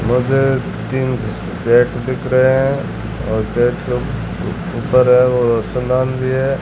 मुझे तीन फ्लैट दिख रहे हैं और गेट के ऊपर वो रोशनदान भी है।